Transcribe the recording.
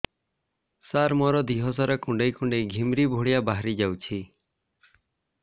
ସାର ମୋର ଦିହ ସାରା କୁଣ୍ଡେଇ କୁଣ୍ଡେଇ ଘିମିରି ଭଳିଆ ବାହାରି ଯାଉଛି